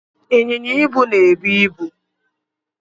Ịnyịnya ibu na-ebu ibu.